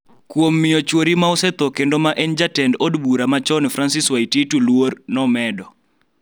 kuom miyo chwori ma osetho kendo ma en jatend od bura machon Francis Waititu luor,� nomedo.